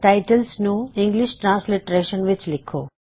titles ਨੂੰ English ਵਰਨਾਂਤਰ ਵਿੱਚ ਲਿੱਖੋ